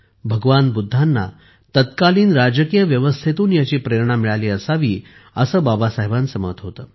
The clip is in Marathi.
भगवान बुद्धांना तत्कालीन राजकीय व्यवस्थेतून याची प्रेरणा मिळाली असावी असे बाबासाहेबांचे मत होते